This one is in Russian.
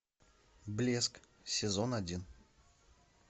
блеск сезон один